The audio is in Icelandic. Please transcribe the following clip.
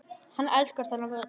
Hann elskar þennan völl.